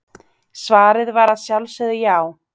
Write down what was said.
Svarið var að sjálfsögðu já.